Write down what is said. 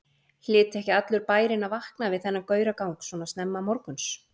Hlyti ekki allur bærinn að vakna við þennan gauragang svo snemma morguns?